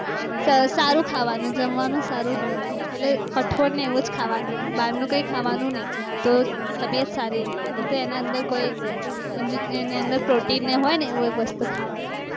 સારું ખાવાનું જમવાનું સારું રેવામાં એટલે કઠોળ ને એવુજ ખાવાનું બારનું કાય ખાવનું ની તો તબિયત સરીજ રે એમ તો રના અંદર injectionprotein ને એ હોય એ વસ્તુ ખાવની